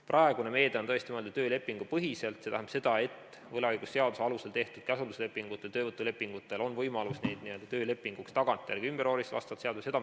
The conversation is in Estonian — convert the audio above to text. Praegune meede on tõesti mõeldud töölepingupõhiselt, see tähendab seda, et inimestel, kellel on võlaõigusseaduse alusel tehtud käsunduslepingud ja töövõtulepingud, on võimalus neid töölepinguks tagantjärele ümber vormistada vastavalt seadusele.